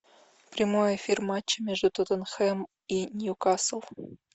прямой эфир матча между тоттенхэм и ньюкасл